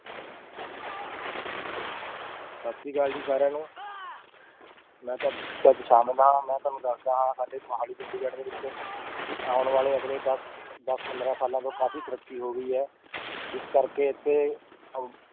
ਸਤਿ ਸ੍ਰੀ ਅਕਾਲ ਜੀ ਸਾਰਿਆਂ ਨੂੰ ਮੈਂ ਤੁਹਾਡੇ ਹਾਂ ਮੈਂ ਤੁਹਾਨੂੰ ਦੱਸਦਾ ਹਾਂ ਸਾਡੇ ਮੁਹਾਲੀ ਚੰਡੀਗੜ੍ਹ ਦੇ ਵਿੱਚ ਵੀ ਆਉਣ ਵਾਲੇ ਅਗਲੇ ਦਸ ਦਸ ਪੰਦਰਾਂ ਸਾਲਾਂ ਤੋਂ ਕਾਫ਼ੀ ਤਰੱਕੀ ਹੋ ਗਈ ਹੈ, ਜਿਸ ਕਰਕੇ ਇੱਥੇ ਅਹ